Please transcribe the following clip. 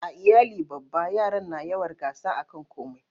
a iyali babba yaran na yawar gasa a kan komai